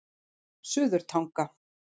Suðurtanga